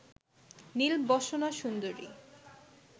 নীলবসনা সুন্দরী